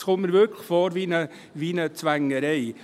Es kommt mir tatsächlich wie eine Zwängerei vor.